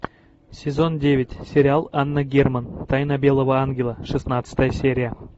сезон девять сериал анна герман тайна белого ангела шестнадцатая серия